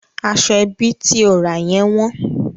Aṣọ ẹbí tí o ra yẹn wọ́n.